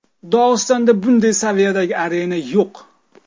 Dog‘istonda bunday saviyadagi arena yo‘q.